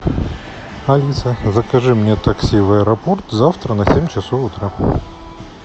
алиса закажи мне такси в аэропорт завтра на семь часов утра